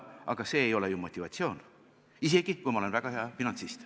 Aga see ei ole ju motivatsioon, isegi kui ollakse väga hea finantsist.